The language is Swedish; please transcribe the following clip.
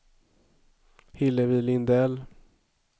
Hillevi Lindell